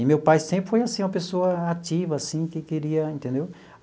E meu pai sempre foi assim, uma pessoa ativa, assim, que queria, entendeu?